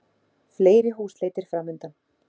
Fleiri húsleitir framundan